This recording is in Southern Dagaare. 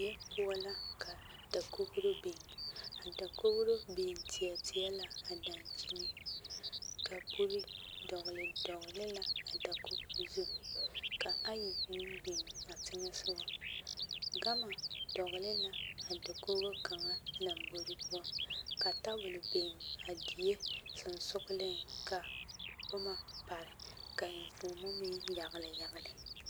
Die poɔ la ka dakogro biŋ a dakogro biŋ teɛ teɛ la a daŋkyini kapure dɔgli dɔgli la a dakogro zu ka ayi meŋ biŋ a teŋɛsogɔ gama dɔgli la a dakogo kaŋa lɔmbore poɔ ka tabol a biŋ a die soŋsogliŋ ka boma pare ka enfuomo meŋ yagli yagli.